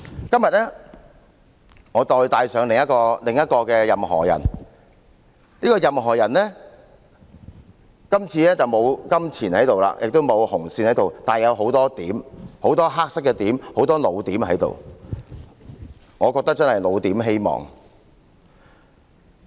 今天我帶上另一個"任何仁"，今次的"任何仁"既沒有金錢亦沒有紅線，但他有很多黑色的點，很多"老點"，我覺得真是"老點"希望。